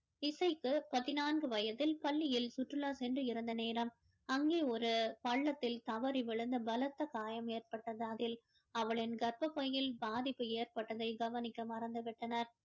இசைக்கு பதினாங்கு வயதில் பள்ளியில் சுற்றுலா சென்று இருந்த நேரம் அங்கே ஒரு பள்ளத்தில் தவறி விழுந்து பலத்த காயம் ஏற்பட்டது அதில் அவளின் கர்ப்பப்பையில் பாதிப்பு ஏற்பட்டதை கவனிக்க மறந்து விட்டனர்